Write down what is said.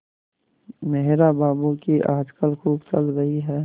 मेहरा बाबू की आजकल खूब चल रही है